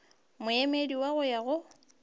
moemedi wa go ya go